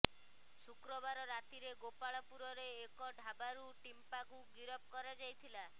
ଶୁକ୍ରବାର ରାତିରେ ଗୋପାଳପୁରର ଏକ ଢାବାରୁ ଟିମ୍ପାକୁ ଗିରଫ କରାଯାଇଥିଲା